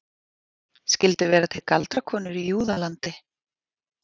Skyldu vera til galdrakonur í Júðalandi?